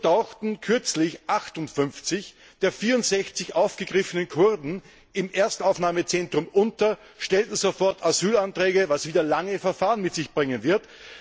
So tauchten kürzlich 58 der 64 aufgegriffenen Kurden im Erstaufnahmezentrum unter, stellten sofort Asylanträge, was wieder lange Verfahren mit sich bringen wird.